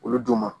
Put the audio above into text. Olu don ma